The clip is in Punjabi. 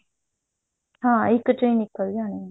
ਹਾਂ ਇੱਕ ਚੋਂ ਨਿਕਲ ਜਾਣੀਆਂ